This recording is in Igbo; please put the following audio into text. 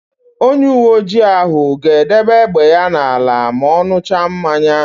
Onyeuweoji ahụ ga-edebe égbè ya n'ala ma ọ n̄ụcha mmanya.